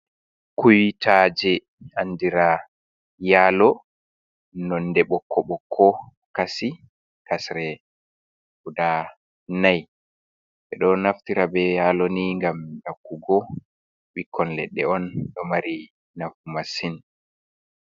"Kuitaje" andira yalo nonde ɓokko ɓokko kasi kasre guda nai ɓeɗo naftira be yalo ni ngam yakkugo ɓikkon ledde on do mari nafu masin.